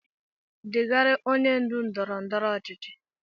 Degara onye ndu ndọrọ ndọrọ ọchịchị